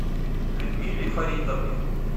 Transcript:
людмиле фаритовне